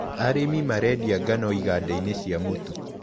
Arĩmi marendia ngano igandainĩ cia mũtu.